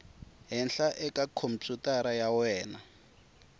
henhla eka khompyutara ya wena